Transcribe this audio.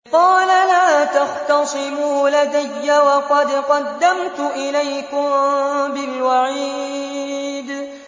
قَالَ لَا تَخْتَصِمُوا لَدَيَّ وَقَدْ قَدَّمْتُ إِلَيْكُم بِالْوَعِيدِ